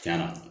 Cayara